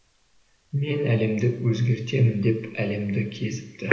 мен әлемді өзгертемін деп әлемді кезіпті